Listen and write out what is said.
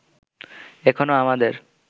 এখনো আমাদের